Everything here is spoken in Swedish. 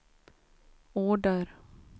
order